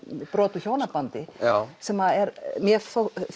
brot úr hjónabandi sem mér